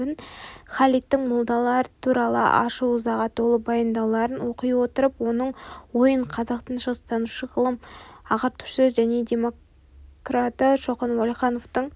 халидтің молдалар туралы ашу-ызаға толы баяндауларын оқи отырып оның ойының қазақтың шығыстанушы ғалымы ағартушысы және демократы шоқан уәлихановтың